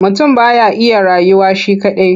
Mutum ba ya iya rayuwa shi kaɗai.